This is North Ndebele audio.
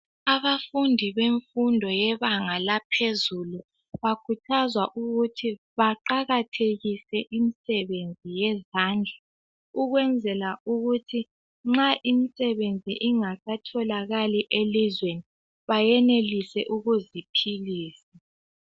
Abafundi bebanga laphezulu. bakhuthazwa ukuthi baqakathekise imisebenzi yezandla ukwenzela ukuthi imisebenzi nxa ingasatholakali elizweni benelise ukuziphilisa.